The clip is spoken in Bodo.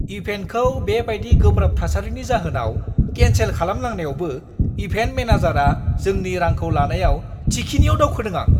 इभेन्टखौ बे बायदि गोब्राब थासारिनि जाहोनाव केनसेल खालामनांनायावबो इभेन्ट मेनेजारआ जोंनि रांखौ लानायाव थिखिनिआव दावखोदों आं।